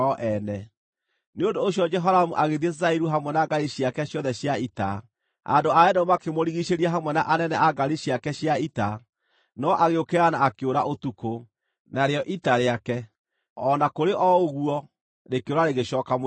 Nĩ ũndũ ũcio Jehoramu agĩthiĩ Zairu hamwe na ngaari ciake ciothe cia ita. Andũ a Edomu makĩmũrigiicĩria hamwe na anene a ngaari ciake cia ita, no agĩũkĩra na akĩũra ũtukũ; narĩo ita rĩake, o na kũrĩ o ũguo, rĩkĩũra rĩgĩcooka mũciĩ.